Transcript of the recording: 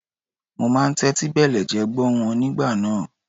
Mo máa ń tẹ́tí bẹ̀lẹ̀jẹ́ gbọ́ wọn nígbà náà.